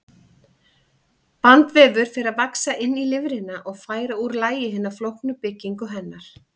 Bandvefur fer að vaxa inn í lifrina og færa úr lagi hina flóknu byggingu hennar.